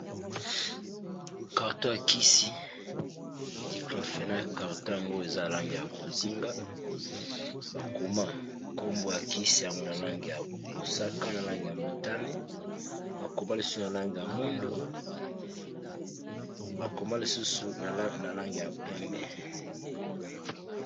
carto ya kisi niclofena carton yango eza alange ya bozinga bakoma nkombwo ya kisi yango na lange ya mosaka na lange ya motani bakoma lisusu na lange ya mwindo bakoma lisusu na lange ya pembe